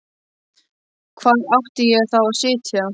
Hvar átti ég þá að sitja?